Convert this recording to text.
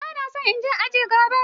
Ba na so in je aji gobe.